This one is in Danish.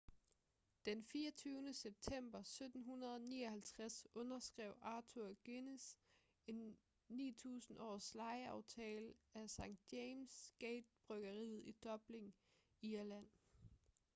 den 24. september 1759 underskrev arthur guinness en 9.000-års lejeaftale af st james' gate-bryggeriet i dublin irland